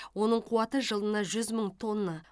оның қуаты жылына жүз мың тонна